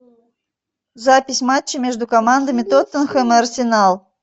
запись матча между командами тоттенхэм и арсенал